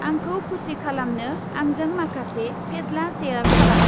आंखौ खुसि खालामनो आंजों माखासे फेस्ला शेयार खालाम।